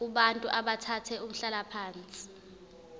kubantu abathathe umhlalaphansi